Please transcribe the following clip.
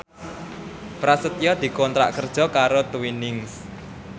Prasetyo dikontrak kerja karo Twinings